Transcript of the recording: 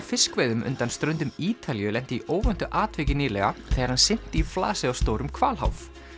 fiskveiðum undan ströndum Ítalíu lenti í óvæntu atviki nýlega þegar hann synti í flasið á stórum hvalháf